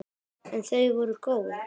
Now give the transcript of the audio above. En þau voru góð.